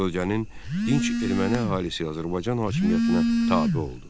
Bölgənin dinc erməni əhalisi Azərbaycan hakimiyyətinə tabe oldu.